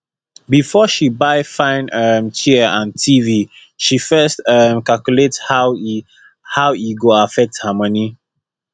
before she buy fine um chair and tv she first um calculate how e how e go affect her money